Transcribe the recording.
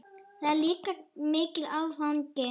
Það er líka mikill áfangi.